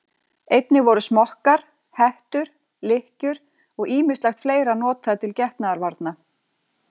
Einnig voru smokkar, hettur, lykkjur og ýmislegt fleira notað til getnaðarvarna.